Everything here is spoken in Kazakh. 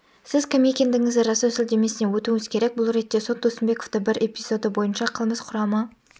сіз кім екендігіңізді растау сілтемесіне өтуіңіз керек бұл ретте сот досымбековты бір эпизоды бойынша қылмыс құрамы